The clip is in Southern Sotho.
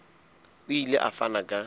o ile a fana ka